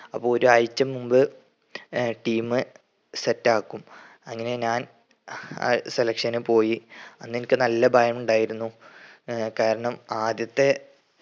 അപ്പൊ ഒരാഴ്ച മുൻപ് ഏർ team set ആക്കും. അങ്ങനെ ഞാൻ selection പോയി. അന്നെനിക് നല്ല ഭയമുണ്ടായിരുന്നു ആഹ് കാരണം ആദ്യത്തെ